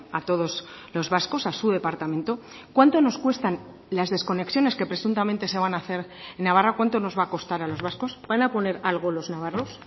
a todos los vascos a su departamento cuánto nos cuestan las desconexiones que presuntamente se van a hacer en navarra cuánto nos va a costar a los vascos van a poner algo los navarros